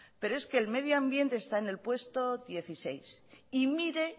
pero es que el medio ambiente está en el puesto dieciséis y mire